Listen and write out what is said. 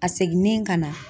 A seginnen ka na